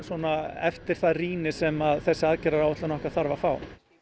eftir það rýni sem þessi aðgerðaráætlun okkar þarf að fá